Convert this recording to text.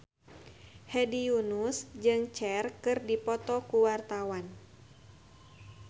Hedi Yunus jeung Cher keur dipoto ku wartawan